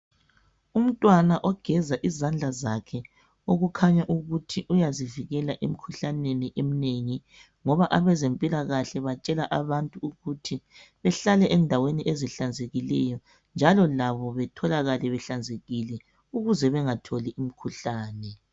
Umntwana ogeza izandla zakhe okukhanya ukuthi uyazivikela emkhuhlaneni eminengi Ngoba abezempilakahle batshela abantu ukuthi behlale endaweni ezihlanzekileyo njalo labo batholakale behlanzekile ukuze bengatholi umkhuhlane.